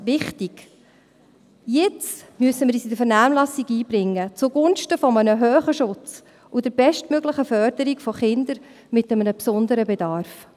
Wichtig: Jetzt müssen wir uns in der Vernehmlassung einbringen, zugunsten eines hohen Schutzes und der bestmöglichen Förderung von Kindern mit einem besonderen Bedarf.